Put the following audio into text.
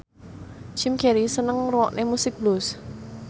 Jim Carey seneng ngrungokne musik blues